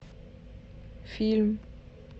фильм